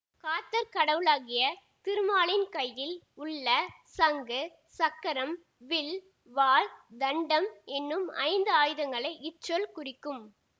காத்தற் கடவுளாகிய திருமாலின் கையில் உள்ள சங்கு சக்கரம் வில் வாள் தண்டம் என்னும் ஐந்து ஆயுதங்களை இச்சொல் குறிக்கும்